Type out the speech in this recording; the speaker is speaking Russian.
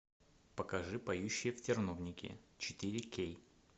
покажи поющие в терновнике четыре кей